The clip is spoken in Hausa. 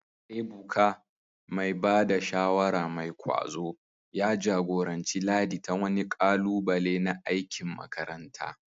Ebuka, mai ba da shawara mai kwazo, ya jagoranci Ladi ta wani ƙalubale na aikin makaranta.